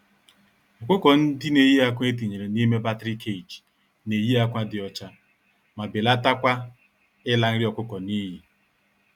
Ọkụkọ-ndị-neyi-ákwà etinyere n'ime battery cage, neyi ákwà dị ọcha, ma belatakwa ịla nri ọkụkọ n'iyi.